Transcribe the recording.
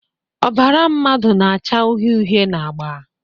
Ọbara mmadụ na-acha uhie uhie na agba